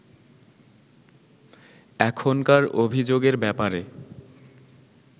এখনকার অভিযোগের ব্যাপারে